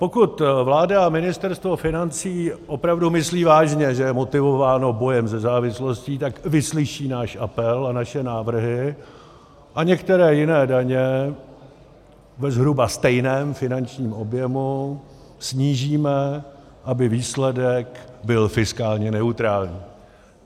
Pokud vláda a Ministerstvo financí opravdu myslí vážně, že je motivováno bojem se závislostí, tak vyslyší náš apel a naše návrhy a některé jiné daně ve zhruba stejném finančním objemu snížíme, aby výsledek byl fiskálně neutrální.